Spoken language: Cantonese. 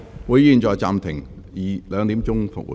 會議現在暫停，下午2時恢復。